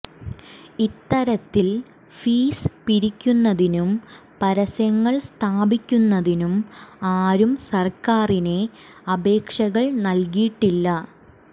ഇത്തരത്തിൽ ഫീസ് പിരിക്കുന്നതിനും പരസ്യങ്ങൾ സ്ഥാപിക്കുന്നതിനും ആരും സർക്കാറിന് അപേക്ഷകൾ നൽകിയിട്ടില്ല